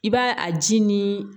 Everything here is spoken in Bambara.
I b'a a ji nii